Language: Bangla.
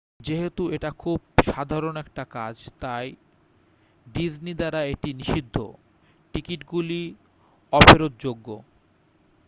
যেহেতু এটা খুব সাধারণ একটা কাজ তাই ডিজনি দ্বারা এটি নিষিদ্ধঃ টিকিটগুলি অফেরৎযোগ্য